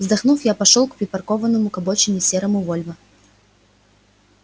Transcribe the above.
вздохнув я пошёл к припаркованному к обочине серому вольво